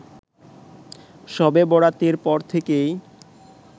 শবে বরাতের পর থেকেই